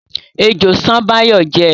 Ejò ṣán Báyọ̀ jẹ́